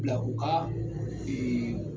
U bila u ka